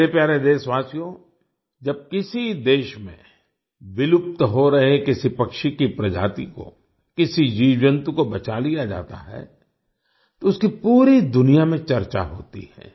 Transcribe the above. मेरे प्यारे देशवासियो जब किसी देश में विलुप्त हो रहे किसी पक्षी की प्रजाति को किसी जीवजंतु को बचा लिया जाता है तो उसकी पूरी दुनिया में चर्चा होती है